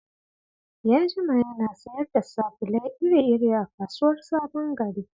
Ya jima yana sayar da sabulai iri-iri a kasuwar SabonGari.